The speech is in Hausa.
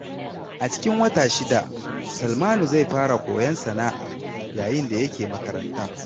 A cikin wata guda, Salmanu zai fara koyon sana’a yayin da yake makaranta.